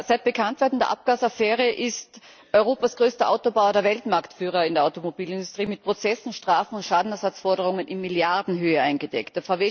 Seit Bekanntwerden der Abgasaffäre ist Europas größter Autobauer, der Weltmarktführer in der Automobilindustrie, mit Prozessen, Strafen und Schadenersatzforderungen in Milliardenhöhe eingedeckt.